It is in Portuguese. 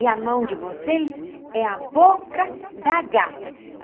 E a mão de vocês é a boca da gata.